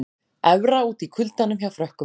Evra úti í kuldanum hjá Frökkum